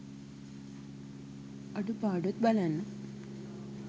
අඩුපාඩුත් බලන්න.